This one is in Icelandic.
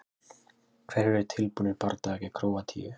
Hverjir eru tilbúnir í bardaga gegn Króatíu?